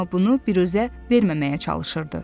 Amma bunu biruzə verməməyə çalışırdı.